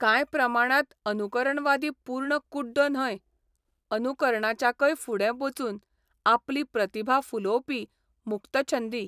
कांय प्रमाणांत अनुकरणवादी पूर्ण कुड्डो न्हय अनुकरणाच्याकय फुडें बचून आपली प्रतिभा फुलोवपी मुक्तछंदी.